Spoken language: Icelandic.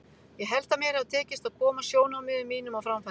Ég held að mér hafi tekist að koma sjónarmiðum mínum á framfæri.